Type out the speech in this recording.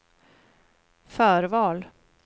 förval